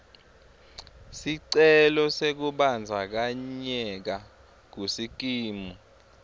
sicelo sekubandzakanyeka kusikimu